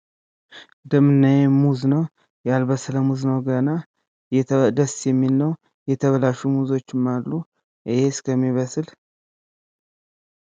እዚህ የምናየው መዝ ነው። ያልበሰለ ሙዝ ነው ገና። ደስ የሚል ነው። የተበላሹ ሙዞችም አሉ። ይሄ እስከሚበስል።